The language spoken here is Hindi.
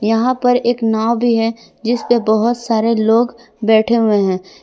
यहां पर एक नाव भी है जिस पे बहुत सारे लोग बैठे हुए हैं।